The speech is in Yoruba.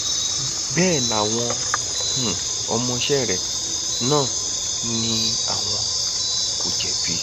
bẹẹ làwọn um ọmọọṣẹ rẹ náà ni àwọn kò jẹbi